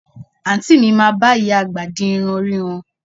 Àǹtí mi máa bá ìyá àgbà di irun orí wọn